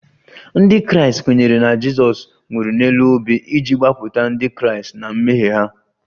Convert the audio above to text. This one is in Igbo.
Ndị Kraịst kwenyere na Jizọs nwụrụ n'elu obe iji gbapụta Ndị Kraịst na mmehie ha